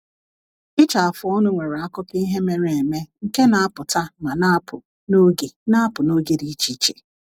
Ịcha afụ ọnụ nwere akụkọ ihe mere eme nke na-apụta ma na-apụ n’oge na-apụ n’oge dị iche iche.